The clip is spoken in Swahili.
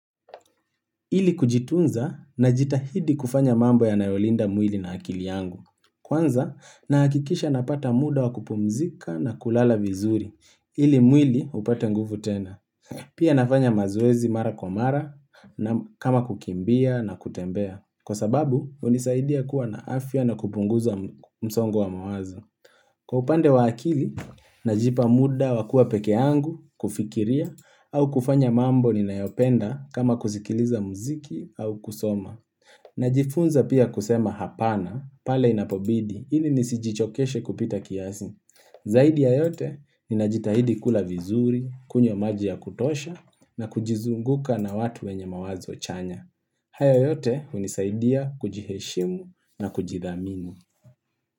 Ili kujitunza najitahidi kufanya mambo yanayolinda mwili na akili yangu. Kwanza nahakikisha napata muda wa kupumzika na kulala vizuri. Ili mwili upate nguvu tena. Pia nafanya mazoezi mara kwa mara kama kukimbia na kutembea. Kwa sababu hunisaidia kuwa na afya na kupunguza msongo wa mawazo. Kwa upande wa akili najipa muda wa kuwa pekee yangu kufikiria au kufanya mambo ninayopenda kama kusikiliza muziki au kusoma. Najifunza pia kusema hapana, pale inapobidi, ili nisijichokeshe kupita kiasi. Zaidi ya yote, ninajitahidi kula vizuri, kunywa maji ya kutosha, na kujizunguka na watu wenye mawazo chanya. Hayo yote, hunisaidia kujiheshimu na kujidhamini.